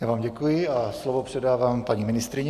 Já vám děkuji a slovo předávám paní ministryni.